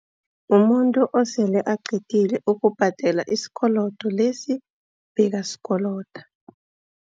Mumuntu osele aqedile ukubhadela isikolodo lesi bekasikolodo.